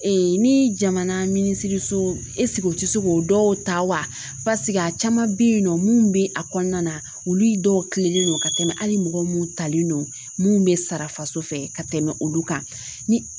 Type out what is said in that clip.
ni jamana minisiriso o tɛ se k'o dɔw ta wasigi a caman bɛ yen nɔ mun bɛ a kɔnɔna na olu dɔw kilennen don ka tɛmɛ hali mɔgɔ minnu talen don mun bɛ sara faso fɛ ka tɛmɛ olu kan ni